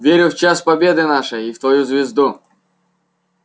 верю в час победы нашей и в твою звезду